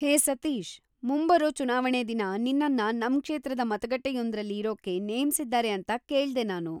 ಹೇ ಸತೀಶ್‌, ಮುಂಬರೋ ಚುನಾವಣೆ ದಿನ ನಿನ್ನನ್ನ ನಮ್ ಕ್ಷೇತ್ರದ ಮತಗಟ್ಟೆಯೊಂದ್ರಲ್ಲಿ ಇರೋಕೆ ನೇಮ್ಸಿದ್ದಾರೆ ಅಂತ ಕೇಳ್ದೆ ನಾನು.